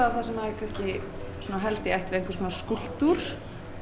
það sem er kannski svona helst í ætt við einhvers konar skúlptúr